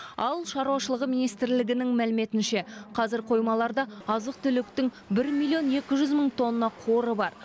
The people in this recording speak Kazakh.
ауыл шаруашылығы министрлігінің мәліметінше қазір қоймаларда азық түліктің бір миллион екі жүз мың тонна қоры бар